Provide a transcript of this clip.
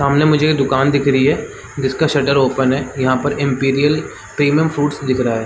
सामने मुझे दुकान रही है जिसका शटर ओपन है यहाँ पर इम्पीरियल प्रीमियम फ्रूट्स दिख रहा है।